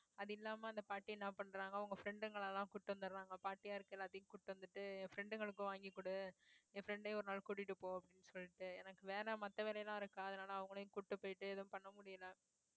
அது இல்லாம அந்த பாட்டி என்ன பண்றாங்க அவங்க friend ங்களை எல்லாம் கூட்டிட்டு வந்துடுறாங்க பாட்டியாருக்க எல்லாத்தையும் கூட்டிட்டு வந்துட்டு friend களுக்கு வாங்கி கொடு என் friend ஐயும் ஒரு நாள் கூட்டிட்டு போ அப்படின்னு சொல்லிட்டு எனக்கு வேல மத்த வேலையெல்லாம் இருக்கா அதனால அவங்களையும் கூட்டிட்டு போயிட்டு எதுவும் பண்ண முடியலை